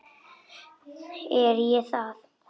Er ég það?